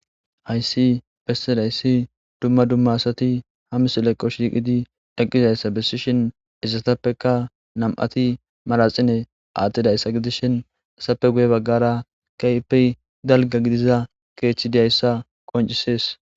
ayssi bessidayssi dumma dumma asati hamis leqqo shiiqidi dhaqqizayssa bessishin issatappeka nam7ati maraxine aattidayssa gidishin assappe guye baggara kayppey dalga gidiza keechchidiyayssa qoncisees